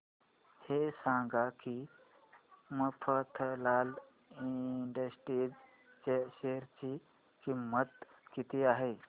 हे सांगा की मफतलाल इंडस्ट्रीज च्या शेअर ची किंमत किती आहे